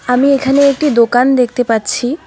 আমি এখানে একটি দোকান দেখতে পাচ্ছি।